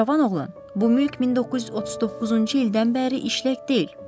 Cavan oğlan, bu mülk 1939-cu ildən bəri işlək deyil.